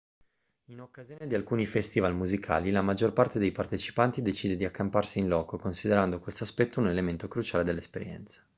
in occasione di alcuni festival musicali la maggior parte dei partecipanti decide di accamparsi in loco considerando questo aspetto un elemento cruciale dell'esperienza